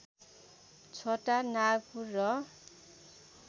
छोटा नागपुर र